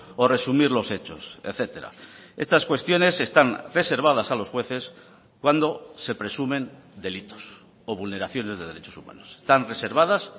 o resumir los hechos etcétera estas cuestiones están reservadas a los jueces cuando se presumen delitos o vulneraciones de derechos humanos están reservadas